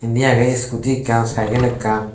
indi agey iskudi ekkan cygel ekan.